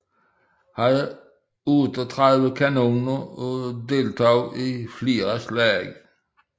Havde 38 kanoner og deltog i flere slag